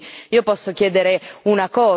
Abbiamo mancato tutti gli obiettivi.